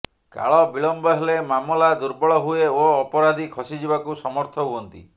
କାଳବିଳମ୍ବ ହେଲେ ମାମଲା ଦୁର୍ବଳ ହୁଏ ଓ ଅପରାଧୀ ଖସିଯିବାକୁ ସମର୍ଥ ହୁଅନ୍ତି